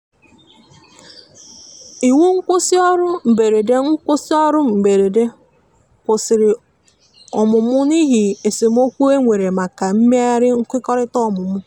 iwu nkwusi orụ mgberede nkwusi orụ mgberede kwụsìrì ọmụmụ n'ihi esemeokwụ enwere maka imeghari nkwekọrịta ọmụmụ